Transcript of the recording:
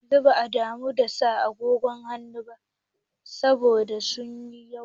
Yanzu ba a damu da sa agogon hannu ba saboda zuwan waya.